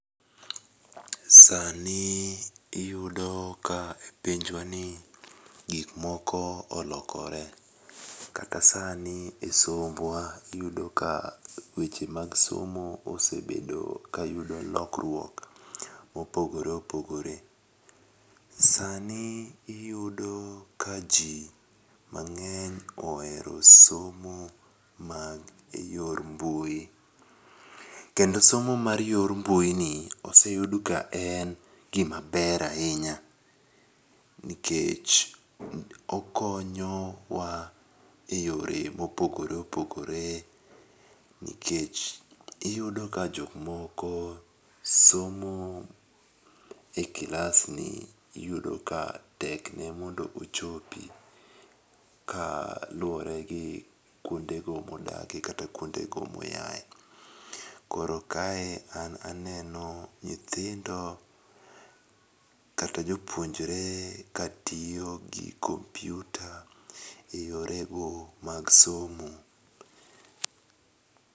Sani iyudo ka e pinjwani gikmoko olokore kata sani e sombwa iyudo ka weche mag somo osebedo kayudo lokruok mopogore opogore, sani iyudo ka ji mang'eny ohero somo mag e yor mbui, kendo somo mar yo mbuini oseyud ka en gimaber ahinya, nikech okonyowa e yore mopogore opogore nikech iyudo ka jokmoko somo e kilasni iyudo ka tekne mondo ochopi kaluwore gi kwondego modakie kata kwondego moyae. Koro kae an aneno nyithindo kata jopuonjre katiyo gi kompyuta e yorego mag somo .